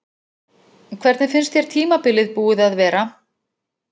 Hvernig finnst þér tímabilið búið að vera?